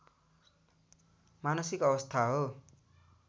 मानसिक अवस्था हो